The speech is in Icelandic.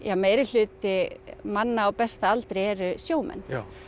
að meiri hluti manna á besta aldri eru sjómenn